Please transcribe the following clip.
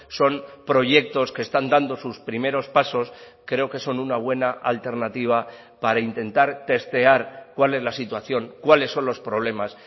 son proyectos que están dando sus primeros pasos creo que son una buena alternativa para intentar testear cuál es la situación cuáles son los problemas